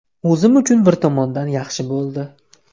O‘zim uchun bir tomondan yaxshi bo‘ldi.